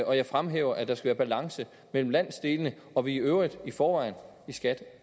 og jeg fremhæver at der skal være balance mellem landsdelene og vi i øvrigt i forvejen i skat